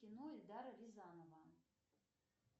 кино эльдара рязанова